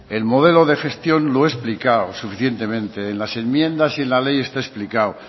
el modelo de gestión lo he explicado suficientemente en las enmiendas y en la ley está explicado